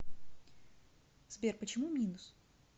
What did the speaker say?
сбер почему минус